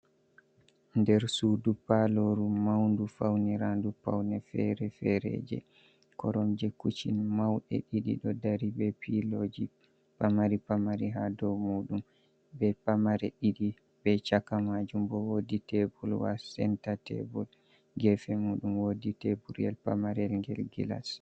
Nder sudu paloru maundu faunirandun paune fere-ferejd be korom je kuccin mauɗe ɗiɗi, ɗo dari be piloji pamari, pamari ha dow muɗum be pamare ɗiɗi be chaka majum bo wodi tebol wa senta tebol gefe mudum wodi tebuyel pamarel gel gillas.